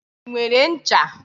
I nwere ncha?